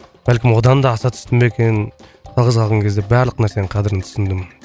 бәлкім одан да аса түсті ма екен жалғыз қалған кезде барлық нәрсенің қадірін түсіндім